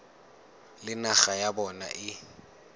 le naga ya bona e